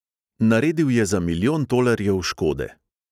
Naredil je za milijon tolarjev škode.